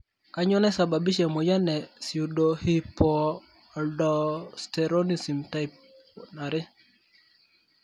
Kanyio naisababisha emoyian e pseudohypoaldosteronism type 2?